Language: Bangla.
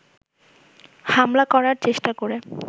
হামলা করার চেষ্টা করে